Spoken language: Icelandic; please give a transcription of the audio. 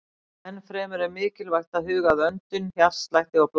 Enn fremur er mikilvægt að huga að öndun, hjartslætti og blæðingum.